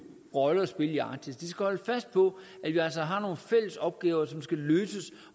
rolle at spille i arktis de skal holdes fast på at vi altså har nogle fælles opgaver som skal løses